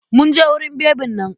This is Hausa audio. Mun je wurin bebin nan.